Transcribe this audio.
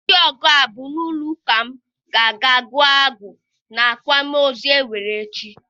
Ndị ọgụ abụ n'ụlọ ụka m ga-aga gụọ abụ n'akwamozu e nwere echi.